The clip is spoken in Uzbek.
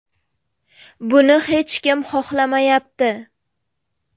Buni hech kim xohlamayapti.